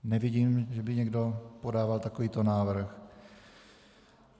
Nevidím, že by někdo podával takovýto návrh.